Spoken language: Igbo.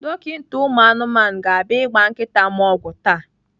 Dọkita ụmụ anụmanụ ga-abịa ịgba nkịta m ọgwụ taa.